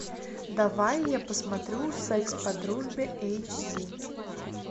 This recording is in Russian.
давай я посмотрю секс по дружбе эйч ди